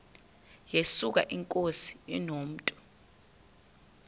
yesuka inkosi inomntu